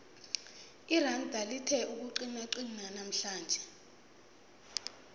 iranda lithe ukuqinaqina namhlanje